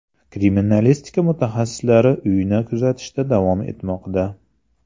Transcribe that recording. Kriminalistika mutaxassislari uyni kuzatishda davom etmoqda.